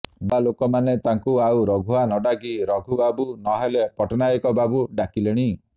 ନୂଆ ଲୋକ ମାନେ ତାକୁ ଆଉ ରଘୁଆ ନ ଡାକି ରଘୁବାବୁ ନ ହେଲେ ପଟ୍ଟନାୟକ ବାବୁ ଡାକିଲେଣି